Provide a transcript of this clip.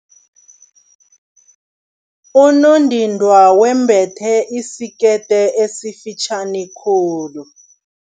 Unondindwa wembethe isikete esifitjhani khulu.